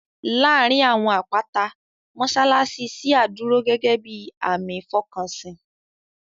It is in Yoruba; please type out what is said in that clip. Láàárín àwọn àpáta, mọ́ṣáláṣí ṣíà dúró gẹ́gẹ́ bíi àmì ìfọkànsìn